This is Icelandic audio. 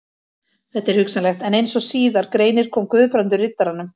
Þetta er hugsanlegt, en eins og síðar greinir kom Guðbrandur Riddaranum